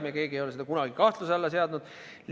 Me keegi ei ole seda kunagi kahtluse alla seadnud.